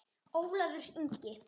Ólafur Ingi.